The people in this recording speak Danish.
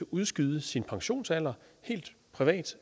udskyde sin pensionsalder helt privat